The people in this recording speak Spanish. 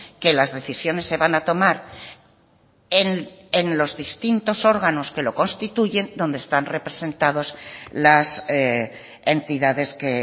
que las decisiones se van a tomar en los distintos órganos que lo constituyen donde están representados las entidades que